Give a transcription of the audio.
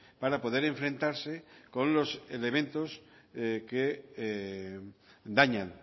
para poder enfrentarse con los elementos que dañan